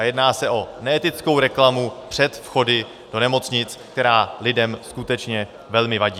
A jedná se o neetickou reklamu před vchody do nemocnic, která lidem skutečně velmi vadí.